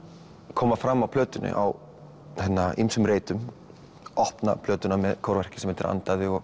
koma fram á plötunni á ýmsum reitum opna plötuna með kórverki sem heitir andaðu og